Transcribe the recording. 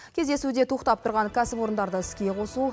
кездесуде тоқтап тұрған кәсіпорындарды іске қосу